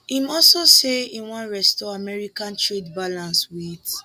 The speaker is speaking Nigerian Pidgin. im also say e wan restore america trade balance wit